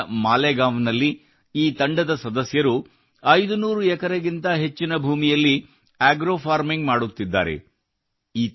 ನಾಸಿಕ್ ನ ಮಾಲೇಗಾಂವ್ ನಲ್ಲಿ ಈ ತಂಡದ ಸದಸ್ಯರು 500 ಎಕರೆಗಿಂತ ಹೆಚ್ಚಿನ ಭೂಮಿಯಲ್ಲಿ ಆಗ್ರೋ ಫಾರ್ಮಿಂಗ್ ಮಾಡುತ್ತಿದ್ದಾರೆ